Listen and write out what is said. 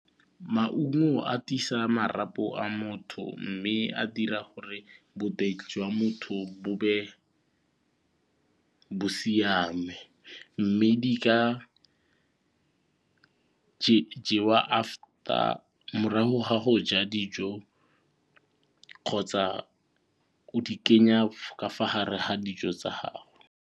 Maungo a tiisa marapo a motho mme a dira gore boteng jwa motho bo be bo siame mme di jewa after morago ga go ja dijo kgotsa o di kenya ka fa gare ga dijo tsa gago.